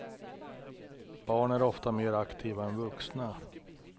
Barn är ofta mer aktiva än vuxna.